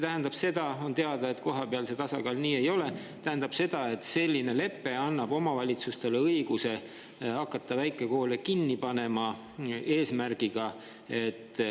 Kui haridustöötajad sinna alla kirjutavad, kas see tähendab seda, et selline lepe annab omavalitsustele õiguse hakata väikekoole kinni panema?